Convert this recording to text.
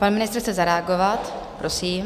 Pan ministr chce zareagovat, prosím.